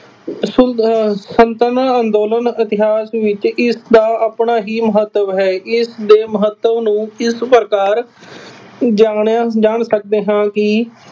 ਅਹ ਸਲਤਨਾ ਅੰਦੋਲਨ ਇਤਿਹਾਸ ਵਿੱਚ ਇਸਦਾ ਆਪਣਾ ਹੀ ਮਹੱਤਵ ਹੈ। ਇਸਦੇ ਮਹੱਤਵ ਨੂੰ ਇਸ ਪ੍ਰਕਾਰ ਜਾਣਿਆ ਜਾਣ ਸਕਦੇ ਹਾਂ ਕਿ